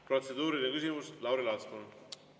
" Protseduuriline küsimus, Lauri Laats, palun!